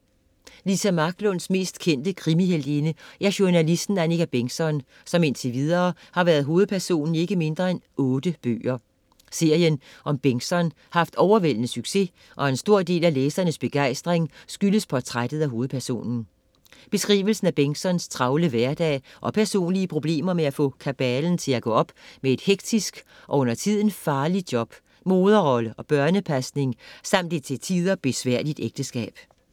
Lisa Marklunds mest kendte krimi-heltinde er journalisten Annika Bentgzon, som indtil videre har været hovedperson i ikke mindre end otte bøger. Serien om Bengtzon har haft overvældende succes og en stor del af læsernes begejstring skyldes portrættet af hovedpersonen. Beskrivelsen af Bengtzons travle hverdag og personlige problemer med at få kabalen til at gå op med et hektisk og undertiden farligt job, moderrolle og børnepasning samt et til tider besværligt ægteskab.